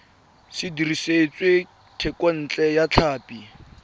se dirisitswe thekontle ya tlhapi